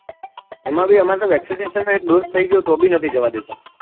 એમાં ભી અમારે vaccsidation નો એક dose થઇ ગયો તો ભી નહી જવા દેતા